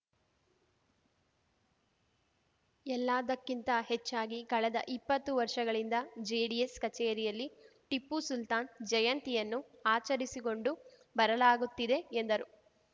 ಎಲ್ಲದಕ್ಕಿಂತ ಹೆಚ್ಚಾಗಿ ಕಳೆದ ಇಪ್ಪತ್ತು ವರ್ಷಗಳಿಂದ ಜೆಡಿಎಸ್‌ ಕಚೇರಿಯಲ್ಲಿ ಟಿಪ್ಪು ಸುಲ್ತಾನ್‌ ಜಯಂತಿಯನ್ನು ಆಚರಿಸಿಕೊಂಡು ಬರಲಾಗುತ್ತಿದೆ ಎಂದರು